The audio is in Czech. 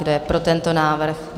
Kdo je pro tento návrh?